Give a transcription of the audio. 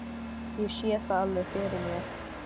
Ég sé það alveg fyrir mér.